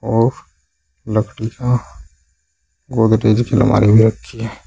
और लकड़ी का गोदरेज की अलमारी भी रखी है।